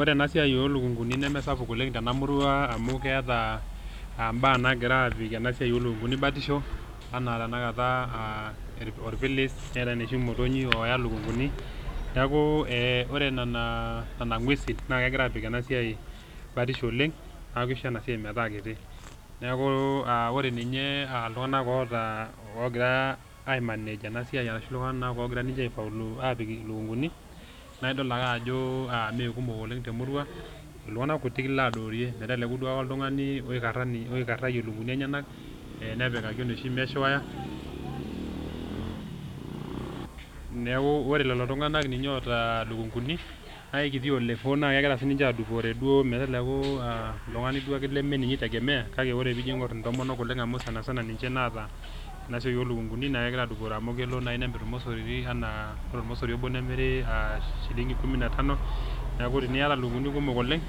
Ore ena siai o lukung'uni nemesapuk oleng' tena murua amu keeta mbaa nagira aapik ena siai o lukung'uni batisho enaa tenakata aa orpilis, neetai inoshi motonyik ooya lukung'uni. Neeku ee ore nena nena ng'uesin naake egira aapik ena siai batisho oleng' naake isho ena siai metaa kiti. Neeku aa ore ninye aa iltung'anak oota ogira aimanage ena siai ashu iltung'anak ogira ninje aifaulu aapik ilukung'uni naae idolta ake ajo a mee kumok oleng' te murua, iltung'anak kutik ilo adoorie meteleku duo ake oltung'ani oikara oikarayie lukung'uni enyenak ee nepikaki enoshi mesh wire. Neeku ore lelo tung'anak ninye oota lukung'uni nae kiti olepo naake egira sininje aadupore duo meteleku a oltung'ani duake leme ninye itegemea kake enijo iing'or intomok oleng' amu ninje sana sana naata ena siai o lukung'uni nae egira adupore amu kelo nai nemir irmosorini naa ore ormosori obo nemiri shillingi kumi na tano. Neeku teniyata lukung'uni kumok oleng',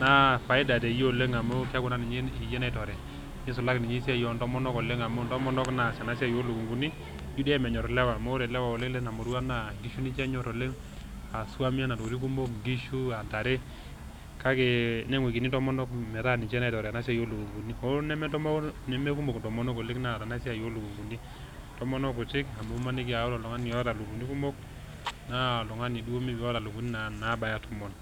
naa faida teyie oleng' amu keeku naa iyie iyie naitore nisulaki ninye esiai o ntomonok oleng' amu ntomonok naas ena siai o lukung'uni tho dii ake menyor ilewa amu ore ilewa oleng' lena murua naa nkishu ninje enyor oleng' [s]haswa naa ntokitin kumok oleng' enaa nkishu, a ntare kake neng'wikini ntomonok metaa ninje naitore ena siai o lukung'uni. Hoo neme ntomonok neme kumok ntomonok oleng' naata siai o lukung'uni, ntomonok kutik amu imaniki a ore oltung'ani oota lukung'uni kumok naa oltung'ani duo oata lukung'uni naabaya tomon.